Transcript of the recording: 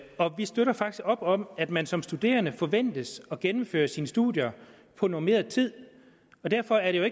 og vi støtter faktisk op om at man som studerende forventes at gennemføre sine studier på normeret tid så derfor er